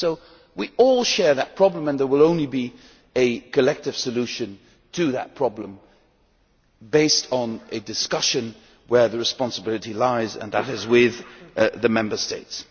So we all share that problem, and there will only be a collective solution to that problem based on a discussion where the responsibility lies, and that is with the Member States.